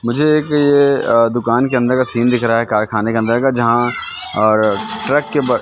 मुझे एक यह दुकान के अंदर का सीन दिख रहा है कारखाने के अंदर का जहां ट्रक के--